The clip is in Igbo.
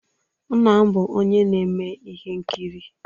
Nna m bụ onye na-eme ihe nkiri